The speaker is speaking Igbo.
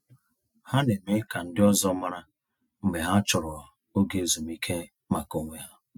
Ha na-eme ka ndị ọzọ mara mgbe ha chọrọ oge ezumiike maka onwe ha.